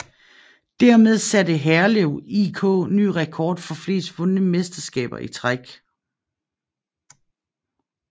Dermed satte Herlev IK ny rekord for flest vundne mesterskaber i træk